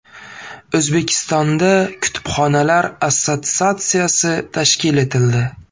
O‘zbekistonda kutubxonalar assotsiatsiyasi tashkil etildi.